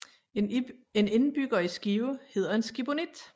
En indbygger i Skive hedder en skibonit